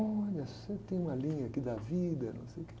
Olha, você tem uma linha aqui da vida, não sei o quê.